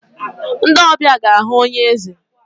Ndị ọbịa ga-ahụ onye eze.